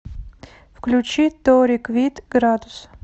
включи тори квит градус